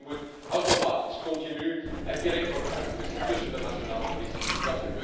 Informatie moet automatisch, continu en direct worden uitgewisseld tussen de nationale politiediensten.